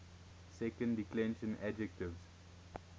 second declension adjectives